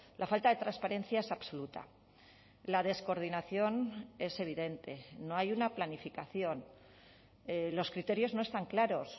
la falta de transparencia es absoluta la descoordinación es evidente no hay una planificación los criterios no están claros